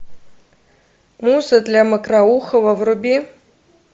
муза для мокроухова вруби